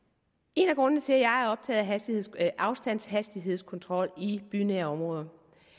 en af grundene til at jeg er optaget af afstandshastighedskontrol i bynære områder